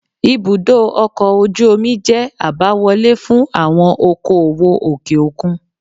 Ibùdó ọkọ̀ ojú omi jẹ́ àbáwọlé fún àwọn okoòwò òkè òkun